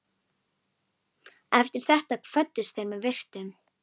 Eftir þetta kvöddust þeir með virktum.